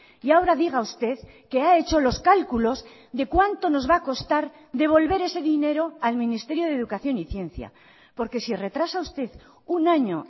y ahora diga usted que ha hecho los cálculos de cuánto nos va a costar devolver ese dinero al ministerio de educación y ciencia porque si retrasa usted un año